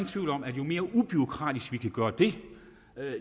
tvivl om at jo mere ubureaukratisk vi kan gøre det